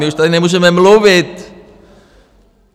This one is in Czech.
My už tady nemůžeme mluvit!